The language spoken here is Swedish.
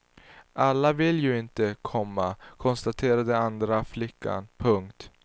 Alla vill ju inte, komma konstaterar den andra flickan. punkt